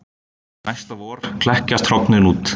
næsta vor klekjast hrognin út